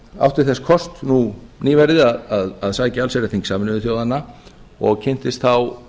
átti þess kost nú nýverið að sækja allsherjarþing sameinuðu þjóðanna og kynntist þá